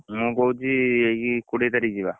ମୁଁ କହୁଛି ଏଇ କୋଡିଏ ତାରିଖ ଯିବା!